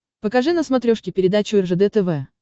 покажи на смотрешке передачу ржд тв